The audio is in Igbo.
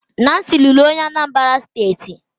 Nancy lụrụ onye Anambra steeti